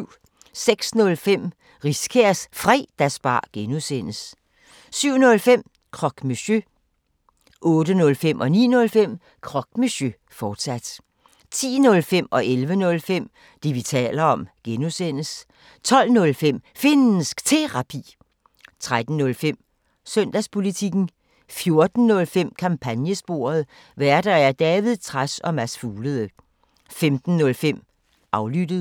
06:05: Riskærs Fredagsbar (G) 07:05: Croque Monsieur 08:05: Croque Monsieur, fortsat 09:05: Croque Monsieur, fortsat 10:05: Det, vi taler om (G) 11:05: Det, vi taler om (G) 12:05: Finnsk Terapi 13:05: Søndagspolitikken 14:05: Kampagnesporet: Værter: David Trads og Mads Fuglede 15:05: Aflyttet